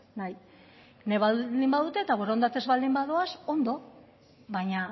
nahi nahi baldin badute eta borondatez baldin badoaz ondo baina